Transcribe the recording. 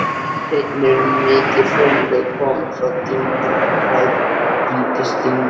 Einnig eru mikil hraunlög komin frá dyngjum, grágrýtisdyngjum.